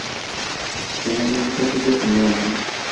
kangaie nikitolikio kulo omon